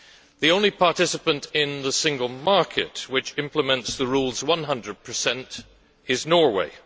The only participant in the single market which implements the rules 100 is Norway.